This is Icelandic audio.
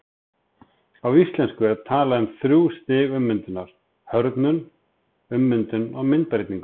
Á íslensku er talað um þrjú stig ummyndunar, hörðnun, ummyndun og myndbreytingu.